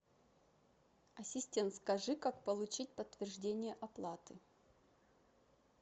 ассистент скажи как получить подтверждение оплаты